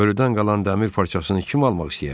Ölüdən qalan dəmir parçasını kim almaq istəyər ki?